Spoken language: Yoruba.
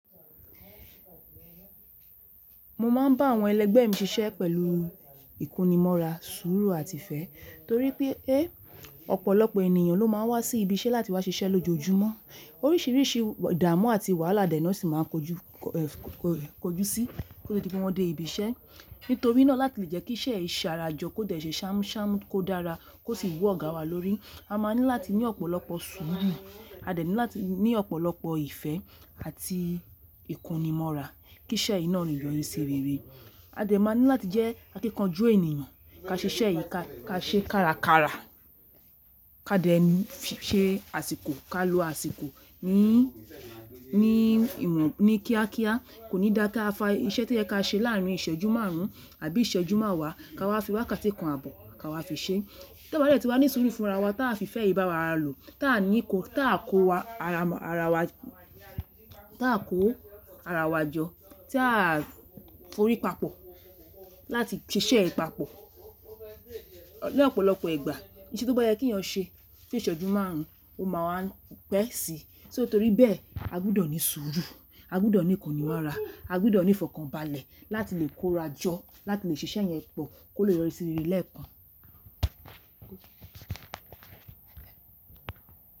Mo máà ń bá àwọn ẹlẹ́gbẹ́ mi ṣiṣẹ́ pẹ̀lú ìkónimóra, sùúrù àti ìfẹ́ torí pé ọ̀pọ̀lọpọ̀ ènìyàn ló má a wá sí ibi iṣẹ́ láti wá ṣiṣẹ́ lójoojúmọ́. Oríṣìíríṣìí ìdààmú àti wàhálà dẹ̀ náà sì máa ń kojú sí kó tó di pé wọ́n dé ibi iṣẹ́. Nítorí náà láti lè jẹ́ kí iṣẹ́ yìí ṣarajọ kó dẹ̀ ṣe ṣàmúṣàmú kó dára kó sì wú ọ̀gá wa lórí, a máa ní láti ní ọ̀pọ̀lọpọ̀ sùúrù, a dẹ̀ ní láti ní ọ̀pọ̀lọpọ̀ ìfẹ́ àti ìkónimóra kí'ṣẹ́ yìí náà leè yọ́rí sí rere. A dẹ̀ máa ní láti jẹ́ akíkanjú ènìyàn, ká ṣe iṣẹ́ yìí ká ṣe kárakára, ká dẹ̀ ṣe àsìkò, ká lo àsìkò ní ìmọ̀ ní kíákíá. Kò ní dáa káa fa iṣẹ́ tó yẹ ká ṣe láàárín ìṣẹ́jú márùn ún àbí ìṣẹ́jú máàwá ká wá fi wákàtí kan àbọ̀ ká wá fi ṣe. Táà bá dẹ̀ ti wá ní sùúrù fúnra wa t’a fi ìfẹ́ yìí báwara lò, t’a ní ìkó—t’a kó ara wa jọ, tí a forí papọ̀ láti ṣiṣẹ́ yìí papọ̀. Ní ọ̀pọ̀lọpọ̀ ìgbà iṣẹ́ tó bá yẹ kí ìyàn ṣe fún ìṣẹ́jú márùn ún ó máa wá ń pẹ́ síi. Só torí bẹ́ẹ̀ a gbúdọ̀ ní sùúrù, a gbúdọ̀ ní ìkónimóra, a gbúdọ̀ ní ìfọ̀kànbalẹ̀ láti lè kóra jọ, láti lè ṣe iṣẹ́ yẹn pọ̀ kó lè yọrí sí rere lẹ́ẹ̀kan.